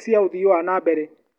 cia ũthii wa na mbere.